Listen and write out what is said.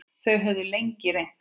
Þau höfðu lengi reynt.